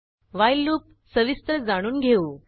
while loop सविस्तर जाणून घेऊ